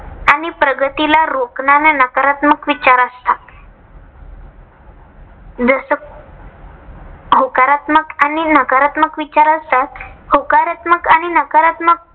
आणि प्रगतीला रोखणारे नकारात्मक विचार असतात. जस होकारात्मक आणि नकारात्मक विचार असतात. होकारात्मक आणि नकारात्मक